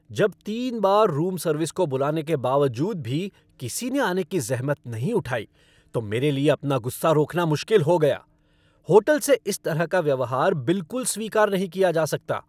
जब तीन बार रूम सर्विस को बुलाने के बावजूद भी किसी ने आने की ज़हमत नहीं उठाई तो मेरे लिए अपना गुस्सा रोकना मुश्किल हो गया। होटल से इस तरह का व्यवहार बिलकुल स्वीकार नहीं किया जा सकता।